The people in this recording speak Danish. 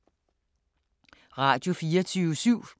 Radio24syv